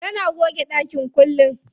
Tana goge ɗakin kullum.